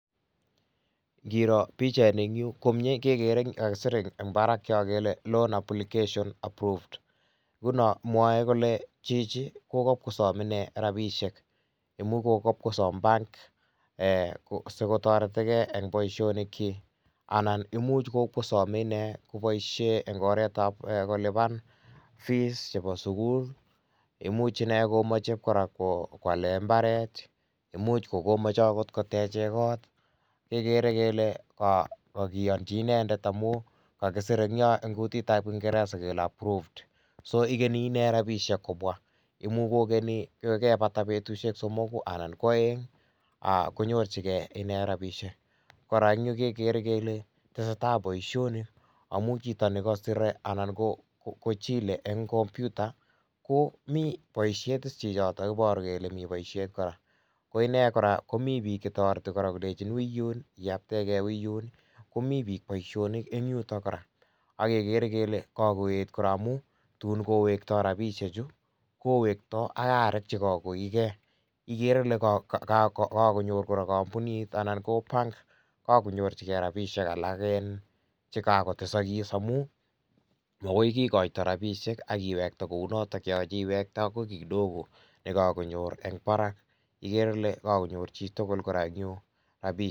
Ingiro pichaini en yu komie kekere kakisir en barak kele loan applications approved nguno mwoe kole chichi kokokwo kosom rabishek imuch kokobkosom bank ko ee sikotoretigee en boisionikchik anan imuch kokwokosome inee boisiet en oretab kolipan fees chebo sukul, imuch inee komoche koraa kwalee imbaret, imuch kokomoche okot koteche kot kekere kele kokiochi inendet amun kakisir en yon en kutitab kingereza kele approved so ikeni inee rabishek kobwa imuch kokeni kokabata betushek somoku anan kwoeng aa konyorjigee inee rabishek ,koraa en yu kekere kele tesetaa boisionik amun chito nekosire anan kochile en kompyuta komi boishet is chichoto iboru kele miboishet koraa ,koinee koraa komi bik chetoreti kolenchin uiyun iyabtegee uiyun komi bik boisionik en yuto koraa, ak kekere kele kokoyet koraa amun tun kowektoo rabishechu kowekto ak arek chekokoiyo , ikere ile kokonyor koraa kompunit anan ko bank kokonyorjigee rabishek alak chekokotesokis amun mokoikikoito rabishek ak iwekte kounoto yoche iwekte ak kii kidogo nekokonyor en barak ikere ile kokonyor chitugul koraa en yu rabishek.